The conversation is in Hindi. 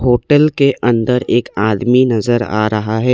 होटल के अंदर एक आदमी नजर आ रहा है।